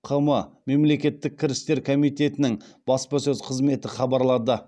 қм мемлекеттік кірістер комитетінің баспасөз қызметі хабарлады